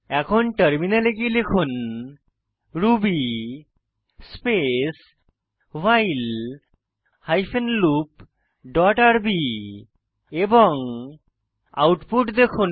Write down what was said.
এখন টার্মিনালে গিয়ে লিখুন ruby space while hyphen loop dot R B এবং আউটপুট দেখুন